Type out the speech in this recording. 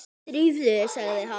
Drífðu þig, sagði hann.